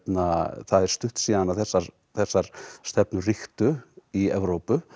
það er stutt síðan að þessar þessar stefnur ríktu í Evrópu